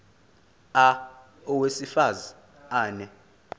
a owesifaz ane